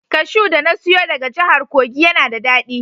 Kashu da na siyo daga jahar kogi yana da dadi.